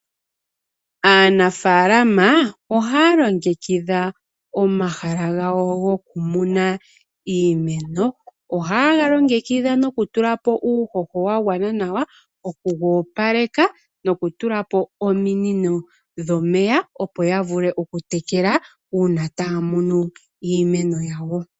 Aanafalama ohaya longekitha omahala gawo gokumuna iimeno. ohaye galongekidha nokutulapo uuhoho wa gwana nawa, oku goopaleka noku tulapo ominino dhomeya opo ya vule oku tekela uuna taya munu iimeno yawo.